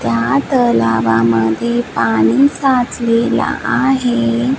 या तलावामध्ये पाणी साचलेलं आहे.